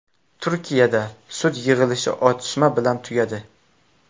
Turkiyada sud yig‘ilishi otishma bilan tugadi.